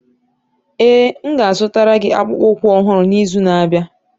Ee, m ga-azụtara gị akpụkpọ ụkwụ ọhụrụ n'izu na-abịa.